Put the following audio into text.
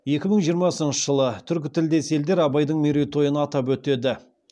екі мың жиырмасыншы жылы түркі тілдес елдер абайдың мерейтойын атап өтеді